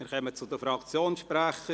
Wir kommen zu den Fraktionssprechern.